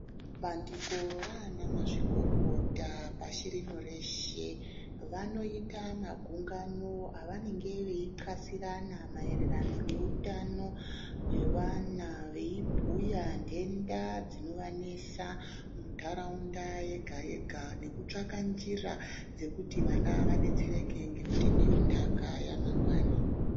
Bandiko ranamazvikokota pashi rino reshe, vanoyita magungano avanenge veyi nxasirana maererano neutano hwevana, veyi bhuya ndenda dzinovanesa mundaraunda yega-yega, nekutsvaka njira dzekuti vana vadetsereke ngekuti ndiyo ndaka yamangwani.